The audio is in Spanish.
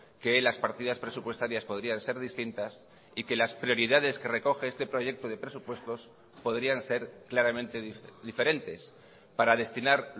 que las partidas presupuestarias podrían ser distintas y que las prioridades que recoge este proyecto de presupuestos podrían ser claramente diferentes para destinar